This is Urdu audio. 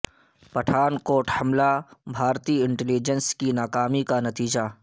پٹھان کوٹ حملہ بھارتی انٹیلی جنس کی ناکامی کا نتیجہ